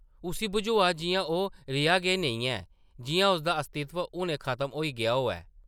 उस्सी बझोआ जिʼयां ओह् रेहा गै नेईं ऐ, जिʼयां उसदा अस्तित्व हुनै खत्म होई गेआ होऐ ।